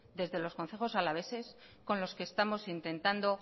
desde los concejos alaveses con los que estamos intentando